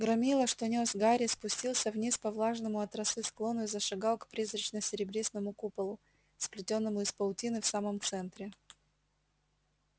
громила что нёс гарри спустился вниз по влажному от росы склону и зашагал к призрачно-серебристому куполу сплетённому из паутины в самом центре